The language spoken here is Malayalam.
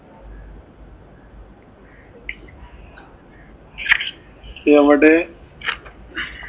എവടെ